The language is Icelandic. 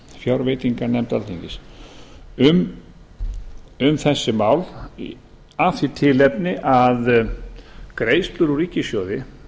sem þá hét um þessi mál af því tilefni að greiðslur úr ríkissjóði